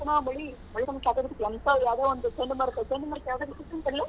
ಹೆಂಗ್ ಗೊತ್ತೇನಾ ಮಳಿ.